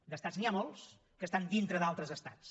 d’estats n’hi ha molts que estan dintre d’altres estats